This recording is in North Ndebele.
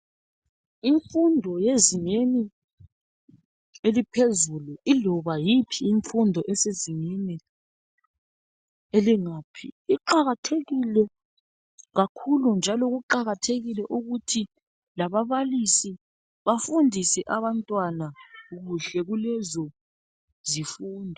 Imfundo yezingeni eliphezulu, iloba yiphi imfundo esezingeni elingaphi iqakathekile kakhulu njalo kuqakathekile ukuthi lababalisi bafundise kuhle kulezo zifundo.